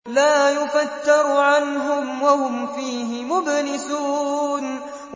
لَا يُفَتَّرُ عَنْهُمْ وَهُمْ فِيهِ مُبْلِسُونَ